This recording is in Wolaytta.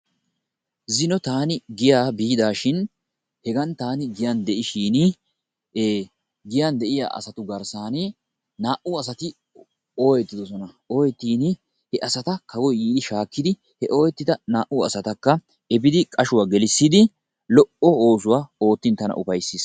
Zino taani giyaa biidaashin hegan taani giyan de'ishin giyan de'iya asatu garsani naa"ati ooyettidosona. Ooyettini he asata kawoyi yiidi shaakidi he ooyittida naa"u asatakka epidi qashuwa gelissidi lo"o oosuwa oottin tana upayisis.